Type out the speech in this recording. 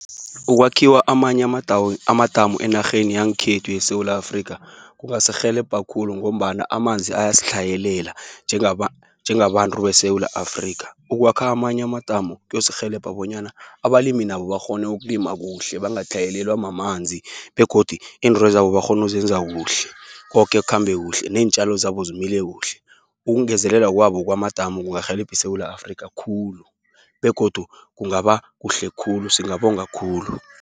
Ukwakhiwa amanye amadamu, enarheni yangkhethu yeSewula Afrika kungasirhelebha khulu, ngombana amanzi ayastlhayelela njengabantru beSewula Afrika. Ukwakha amanye amadamu kuyosirhelebha, bonyana abalimi nabo bakghone ukulima kuhle. Bangatlhayelelwa mamanzi, begodu intrwezabo bakghonuzenza kuhle. Kokekhambe kuhle, neentjalo zabo zimile kuhle. Ukungezelela kwabo kwamadamu, kungarhelebhi iSewula Afrika khulu, begodu kungaba kuhle khulu, singabonga khulu.